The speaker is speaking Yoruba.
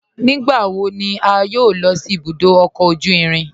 Nígbàwọ̀ ní à yọ́ò lọ sí ìbùdó ọkọ ojú ìrìn?